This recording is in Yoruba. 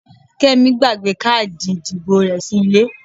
Kẹ́mi gbàgbé káàdì ìdìbò rẹ sí ilé.